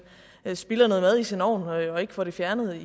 spilder noget mad i sin ovn og ikke får det fjernet